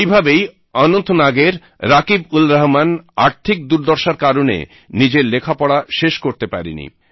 এইভাবেই অনন্তনাগের রাকীবউলরহমান আর্থিক দুর্দশার কারণে নিজের লেখাপড়া শেষ করতে পারে নি